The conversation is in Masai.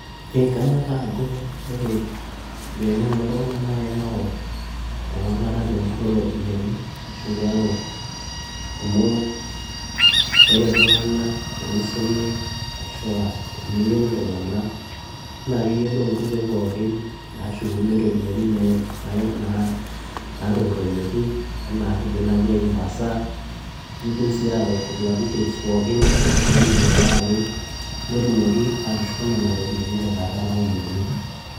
kanyoraa ajo ore enkiteng'ena oltung'anak naa keyau ewalata te murore oo ropiyiani, amu ore iltunganak tenisumi, ashu aa teneng'enu iltunganak naa keyiolou inkoitoi pookin naashuni iropiyiani naatupuroyieki, anaa kidima naaji ai reviser ,nidim sii atodua details pookin ,oltungani oiriwakaki, neidim sii atushuku nena ropiyiani tenkata nayieuni.